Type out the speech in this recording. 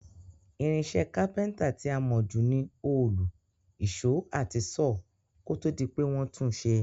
Irinsé Kápẹ́ńtà ti a mó ju ni òòlù, ìsó àti saw, kótódi pe won tun sé